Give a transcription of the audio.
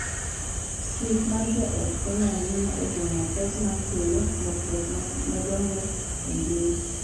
Thieth mar joot konyo ahinya e geng’o pek ma kelo lokruok madongo e ngima .